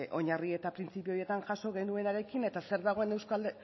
oinarri eta printzipio horietan jaso genuenarekin eta zer dagoen